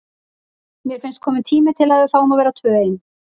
Mér finnst kominn tími til að við fáum að vera tvö ein.